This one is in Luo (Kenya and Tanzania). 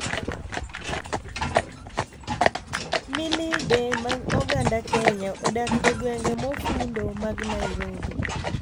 Millide mag oganda Kenya odak e gwenge mofundo mag Nairobi,